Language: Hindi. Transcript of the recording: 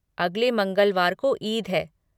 अगले मंगलवार को ईद है।